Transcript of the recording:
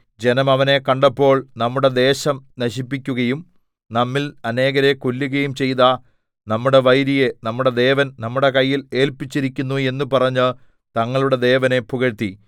ജനം അവനെ കണ്ടപ്പോൾ നമ്മുടെ ദേശം നശിപ്പിക്കുകയും നമ്മിൽ അനേകരെ കൊല്ലുകയും ചെയ്ത നമ്മുടെ വൈരിയെ നമ്മുടെ ദേവൻ നമ്മുടെ കയ്യിൽ ഏല്പിച്ചിരിക്കുന്നു എന്ന് പറഞ്ഞ് തങ്ങളുടെ ദേവനെ പുകഴ്ത്തി